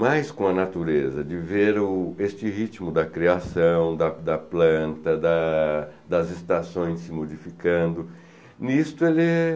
mais com a natureza, de ver o este ritmo da criação, da da planta, da das estações se modificando, nisto ele